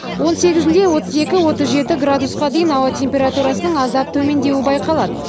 он сегізінде отыз екі отыз жеті градусқа дейін ауа температурасының аздап төмендеуі байқалады